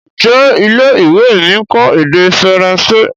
Njé ilé-ìwé mí nkọ èdè Faransé?